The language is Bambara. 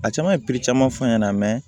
A caman ye caman fɔ n ɲɛna